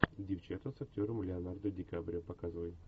девчата с актером леонардо ди каприо показывай